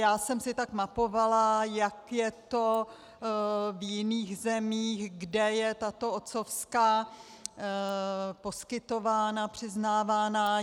Já jsem si tak mapovala, jak je to v jiných zemích, kde je tato otcovská poskytována, přiznávána.